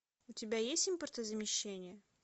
у тебя есть импортозамещение